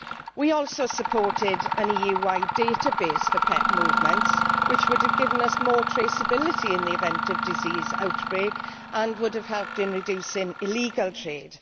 We also supported an EU wide database for pet movements, which would have given us more traceability in the event of disease outbreak and would have helped in reducing illegal trade.